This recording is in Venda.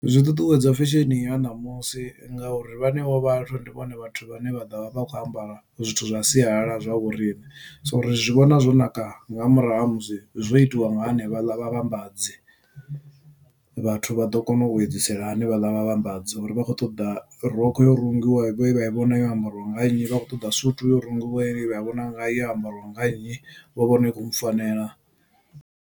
Zwi ṱuṱuwedza fesheni ya ṋamusi ngauri vhenevho vhathu ndi vhone vhathu vhane vha ḓovha vha kho ambara zwithu zwa sialala zwa vhoriṋe. So uri zwi vhona zwo naka nga murahu ha musi zwo itiwa nga hanevha ḽa vhavhambadzi vhathu vha ḓo kona u edzisela hanefhaḽa vha vhambadza uri vha khou ṱoḓa rokho yo rungiwa ye vhai vhona yo ambariwa nga nnyi vha khou ṱoḓa suthu yo rungiwa ye vha chi vhona yo ambariwa nga nnyi vho vhona i khou mufanela.